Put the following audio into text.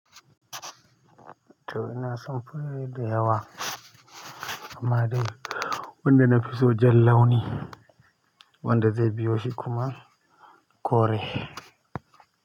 To ina son fure da yawa amma dai wanda nafi so jan launi wanda zai biyo shi kuma kore.